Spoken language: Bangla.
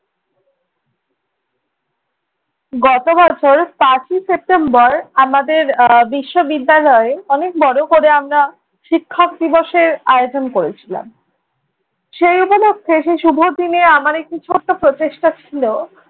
গত বছর পাঁচই সেপ্টেম্বর আমাদের আহ বিশ্ববিদ্যালয়ে অনেক বড় করে আমরা শিক্ষক দিবসের আয়োজন করেছিলাম। সেই উপলক্ষে সেই শুভ দিনে আমার একটি ছোট্ট প্রচেষ্টা ছিলো